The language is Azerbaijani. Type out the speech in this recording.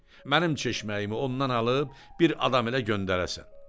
Mənim çeşməyimi ondan alıb bir adam ilə göndərəsən.